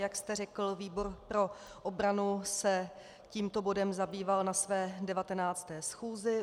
Jak jste řekl, výbor pro obranu se tímto bodem zabýval na své 19. schůzi.